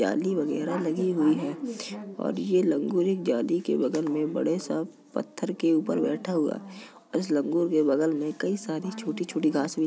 जाली वगैरह लगी हुई है और ये लंगूर जाली के बगल में एक बड़े सा पत्थर के ऊपर बैठा हुआ है और इस लंगूर के बगल में कई सारी छोटी-छोटी धास भी --